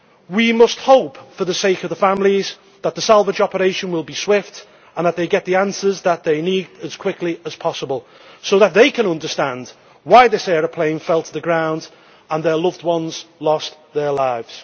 We must hope for the sake of the families that the salvage operation will be swift and that they get the answers that they need as quickly as possible so that they can understand why this aeroplane fell to the ground and their loved ones lost their lives.